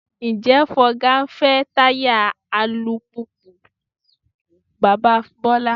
Ǹjẹ́ Fọga ń fẹ́ táyà alùpùpù bàbá Bọ́lá?